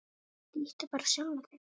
Líttu bara á sjálfan þig.